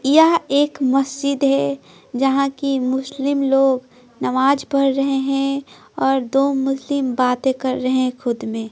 यह एक मस्जिद है जहां की मुस्लिम लोग नमाज पढ़ रहे हैं और दो मुस्लिम बातें कर रहे हैंखुद में--